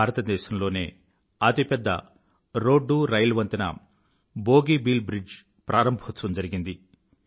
భారదేశంలోనే అతిపెద్ద రోడ్డూరైల్ వంతెన బోగీబీల్ బ్రిడ్జ్ ప్రారంభోత్సవం జరిగింది